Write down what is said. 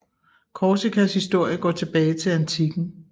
Korsikas historie går tilbage til antikken